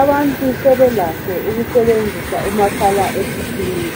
Abantu sebelakho ukusebenzisa umakhala ekhukhwini